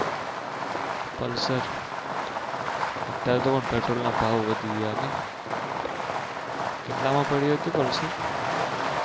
pulsar અત્યારે તો Petrol ના ભાવ વધી ગયા નહિ કેટલા માં પડ્યું હતું Pulser?